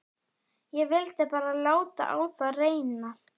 Ég vildi bara láta á það reyna.